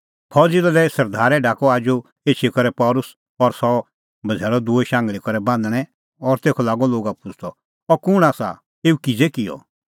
फौज़ी दले सरदारै ढाकअ आजू एछी करै पल़सी और सह बझ़ैल़अ दूई शांघल़ी करै बान्हणैं और तेखअ लागअ लोगा पुछ़दअ अह कुंण आसा एऊ किज़ै किअ